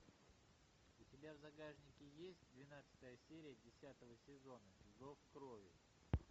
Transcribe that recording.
у тебя в загашнике есть двенадцатая серия десятого сезона зов крови